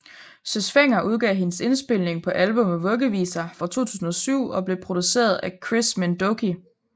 Søs Fenger udgav hendes indspilning på albummet Vuggeviser fra 2007 og blev produceret af Chris Minh Doky